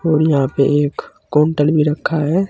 और यहां पे एक काउंटर भी रखा है।